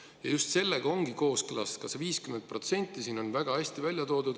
Ja just sellega ongi kooskõlas ka see 50%.